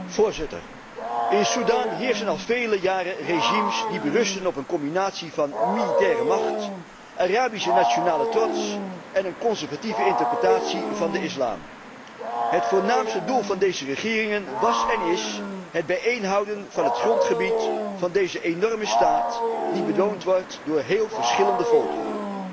Voorzitter, in Sudan heersen al vele jaren regimes die berusten op een combinatie van militaire macht, Arabische nationale trots en een conservatieve interpretatie van de islam. Het voornaamste doel van deze regeringen was en is het bijeenhouden van het grondgebied van deze enorme staat, die bewoond wordt door heel verschillende volkeren.